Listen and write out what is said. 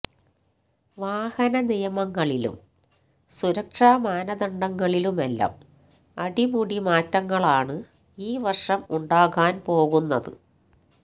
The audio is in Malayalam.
വാഹനനിയമ ങ്ങളിലും സുരക്ഷമാനദണ്ഡങ്ങളിലുമെല്ലാം അടിമുടി മാറ്റങ്ങളാണ് ഇൌ വർഷം ഉണ്ടാകാൻ പോകുന്നത്